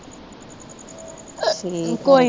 ਠੀਕ ਆ